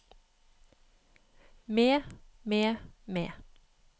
med med med